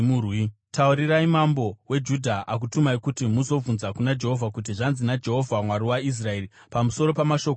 Taurirai mambo weJudha, akutumai kuti muzobvunza kuna Jehovha, kuti, ‘Zvanzi naJehovha, Mwari waIsraeri, pamusoro pamashoko awanzwa: